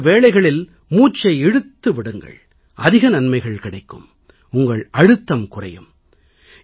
இதுபோன்ற வேளைகளில் மூச்சை இழுத்து விடுங்கள் அதிக நன்மைகள் கிடைக்கும் உங்கள் அழுத்தம் குறையும்